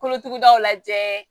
Kolotugudaw lajɛ